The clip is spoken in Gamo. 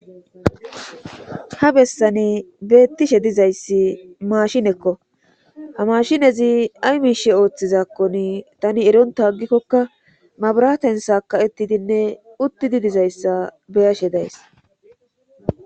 ha bessane beettishe dizayssi maashinekko ha mashinezi ay miishe ooththizakkon tani eronta aggikkokka mabraten sa ka7etidinne utti di dizayssa beyashe days